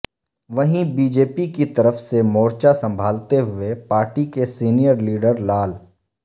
وہیں B J P کی طرف سے مورچہ سنبھالتے ہوئے پارٹی کے سینئر لیڈر لال